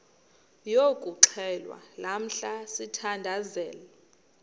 yokuxhelwa lamla sithandazel